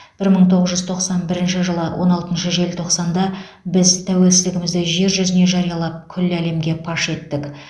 бір мың тоғыз жүз тоқсан бірінші жылы он алтыншы желтоқсанда біз тәуелсіздігімізді жер жүзіне жариялап күллі әлемге паш еттік